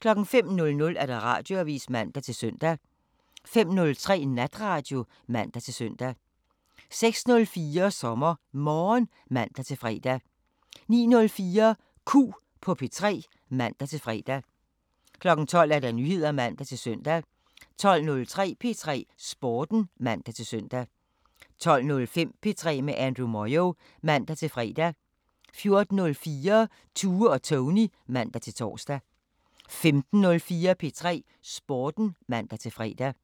05:00: Radioavisen (man-søn) 05:03: Natradio (man-søn) 06:04: SommerMorgen (man-fre) 09:04: Q på P3 (man-fre) 12:00: Nyheder (man-søn) 12:03: P3 Sporten (man-søn) 12:05: P3 med Andrew Moyo (man-fre) 14:04: Tue og Tony (man-tor) 15:04: P3 Sporten (man-fre)